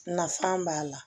Nafan b'a la